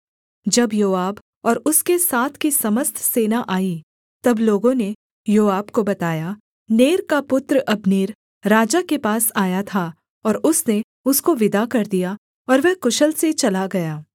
जब योआब और उसके साथ की समस्त सेना आई तब लोगों ने योआब को बताया नेर का पुत्र अब्नेर राजा के पास आया था और उसने उसको विदा कर दिया और वह कुशल से चला गया